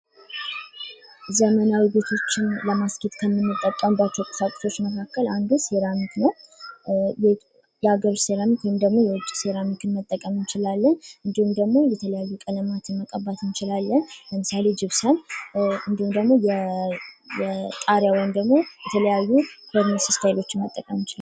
ዘመናዊ ቤቶችን ለማስጌጥ ከምንጠቀምባቸው ቁሳቁሶች መካከል አንዱ ሴራሚክ ነው። የሀገር ውስጥ ሴራሚክ ወይም ደግሞ የውጭ ሴራሚክ መጠቀም እንችላለን። እንድሁም ደግሞ የተለያዩ ቀለማትን መቀባት እንችላለን። ለምሳሌ ጅፕሰም እንድሁም ደግሞ የጣራውን ደግሞ የተለያዩ እስታይሎችን መጠቀም እንችላለን።